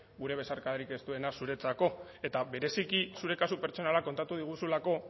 gure besarkadarik estuena zuretzako eta bereziki zure kasu pertsonala kontatu diguzulako